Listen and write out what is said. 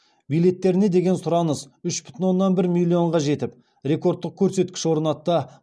билеттеріне деген сұраныс үш бүтін оннан бір миллионға жетіп рекордтық көрсеткіш орнатты